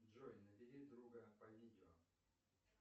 джой набери друга по видео